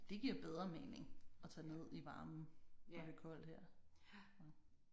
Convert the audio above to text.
Det giver bedre mening at tage ned i varmen når det er koldt her